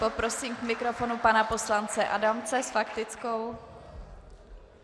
Poprosím k mikrofonu pana poslance Adamce s faktickou.